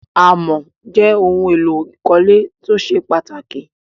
Àmọ̀ jẹ́ ohun-èlò ìkọ́lé tó ṣe pàtàkì.